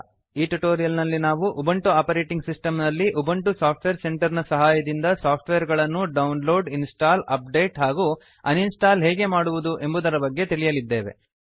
ಈ ಟ್ಯುಟೋರಿಯಲ್ ನಲ್ಲಿ ನಾವು ಉಬಂಟು ಆಪರೇಟಿಂಗ್ ಸಿಸ್ಟಮ್ ನಲ್ಲಿ ಉಬಂಟು ಸಾಫ್ಟ್ವೇರ್ ಸೆಂಟರ್ ನ ಸಹಾಯದಿಂದ ಸಾಫ್ಟ್ವೇರ್ ಗಳನ್ನು ಡೌನ್ಲೋಡ್ ಇನ್ಸ್ಟಾಲ್ ಅಪ್ಡೇಟ್ ಹಾಗೂ ಅನ್ಇನ್ಸ್ಟಾಲ್ ಹೇಗೆ ಮಾಡುವುದು ಎಂಬುದರ ಬಗ್ಗೆ ತಿಳಿಯಲಿದ್ದೇವೆ